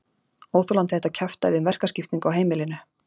Óþolandi þetta kjaftæði um verkaskiptingu á heimilinu.